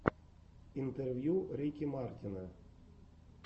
интервью рики мартина